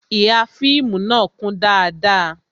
Ihà fíìmù na kún dáadáa